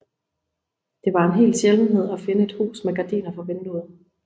Det var en hel sjældenhed at finde et hus med gardiner for vinduet